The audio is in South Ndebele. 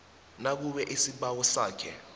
nakube isibawo sakhe